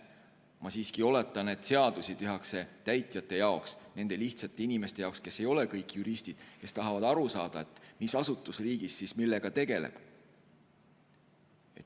Ma siiski oletan, et seadusi tehakse täitjate jaoks, nende lihtsate inimeste jaoks, kes ei ole kõik juristid, kes tahavad aru saada, mis asutus riigis millega tegeleb.